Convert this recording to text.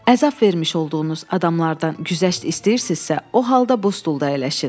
Əzab vermiş olduğunuz adamlardan güzəşt istəyirsinizsə, o halda bu stulda əyləşin.